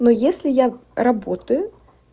ну если я работаю